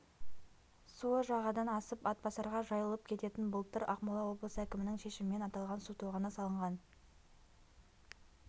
суы жағадан асып атбасарға жайылып кететін былтыр ақмола облысы әкімінің шешімімен аталған су тоғаны салынған